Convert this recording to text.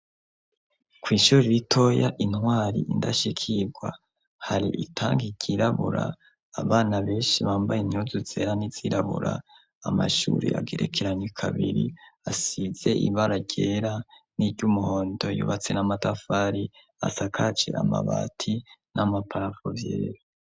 Kw'ishuri iritoya intwari indashikirwa hari itanga ikirabura abana benshi bambaye inyuzu zera n'izirabura amashuri agerekeranye kabiri asize imbara ryera n'iryo umuhonto yubatse n'amatafari asakaje amabati n'amaparapuvye.